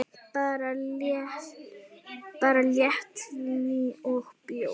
Bara léttvín og bjór.